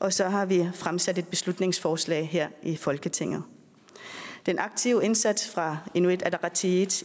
og så har vi fremsat et beslutningsforslag her i folketinget den aktive indsats fra inuit ataqatigiits